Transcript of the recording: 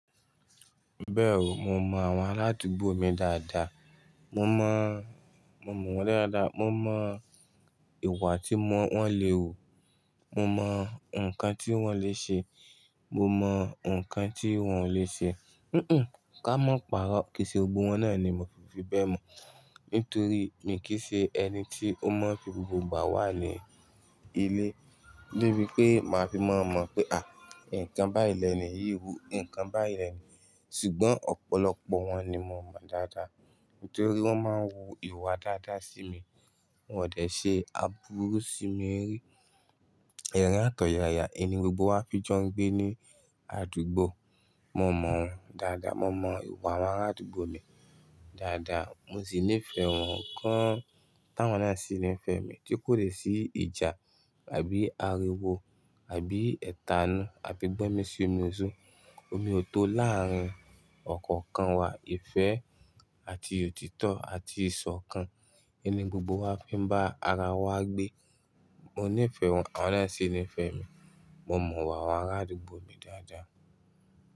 Bẹ́ẹ̀ o, mo mọ àwọn aládugbò mi dáadáa. Mo mo. Mo mọ̀ wọ́n dáadáa, mo mọ ìwà tí wọ́n le wù, mo mọ ǹkan tí wọ́n le ṣe, mo mọ ǹkan tí wọ́n ò lè ṣe. Ká mọ pàrọ́, kìí ṣe gbogbo wọn náà ni mo fi bẹ́ẹ̀ mọ̀, nítorí mi kì í ṣe ẹni tí ó máa fi gbogbo ìgbà wà ní ilé. Ni bí pé máa fi maa mọ̀ pé, àì, ǹkan báyìí lẹ́ni yìí wu, ǹkan báyìí lẹ́ni. Ṣùgbọ́n ọ̀pọ̀lọpọ̀ wọn ni mo mọ dáadáa. Nítorí wọ́n máa ń wu ìwà dáadáa sí mi, won ò dè ṣe aburú sí mi rí. Èrín à t'òyàyà, ẹ ni gbogbo wá fi jọ́ ń gbé ní àdúgbò. Mo mọ̀ wọ́n dáadáa, mo mọ ìwà àwọn aládùúgbò mi dáadáa. Mo sì nífẹ̀ẹ́ wọ́n gan, tá'wọ́n náà sì nífẹ̀ẹ́ mi. Tí kòdè sí ìjà àbí ariwo àbí ẹ̀tanú àbí gbọ́mi sí omi oso, omi ò tó láàrín ọ̀kọ̀ọ̀kan wa. Ìfẹ́ àti òtítọ́ àti ìṣọ̀kan. Ẹ ni gbogbo wá fi n bá ara wa gbé. Mo nífẹ̀ wọn, awon náà sì nífẹ̀ mi. Mo mọ ìwà àwọn aládùúgbò mi dáadáa.